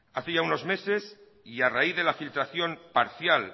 hace ya unos meses y raíz de la filtración parcial